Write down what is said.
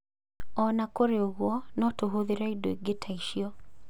O na kũrĩ ũguo, no tũhũthĩre indo ingĩ ta icio.